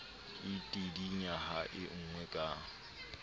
e tidinya ha engwa ka